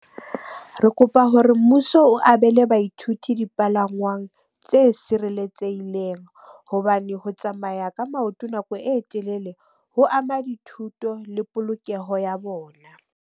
Re kopa hore mmuso o abele baithuti dipalangwang tse sireletsehileng. Hobane ho tsamaya ka maoto nako e telele ho ama dithuto le polokeho ya bona.